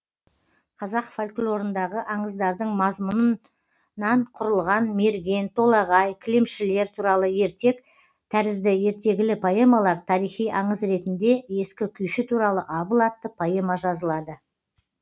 қазақ фольклорындағы аңыздардың мазмұнынан құрылған мерген толағай кілемшілер туралы ертек тәрізді ертегілі поэмалар тарихи аңыз ретінде ескі күйші туралы абыл атты поэма жазылады